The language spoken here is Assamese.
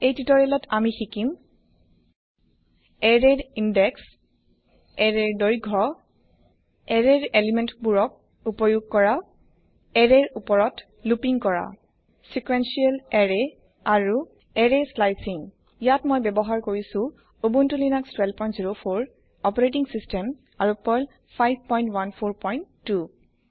এই তুতৰিয়ালত আমি শিকিম এৰেৰ ইন্দেক্স এৰেৰ দৈৰ্ঘয় এৰেৰ এলিমেন্টবোৰক উপয়োগ কৰা এৰেৰ উপৰত লুপিং কৰা সিকুএনচিয়েল এৰে আৰু এৰে স্লাইচিং ইয়াত মই ব্যৱহাৰ কৰিছো উবুন্তু লিনাক্স 1204 অপাৰেটিং সিস্টেম আৰু পাৰ্ল 5142